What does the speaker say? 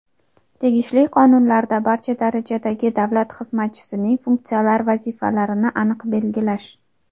tegishli qonunlarda barcha darajadagi davlat xizmatchisining funksional vazifalarini aniq belgilash.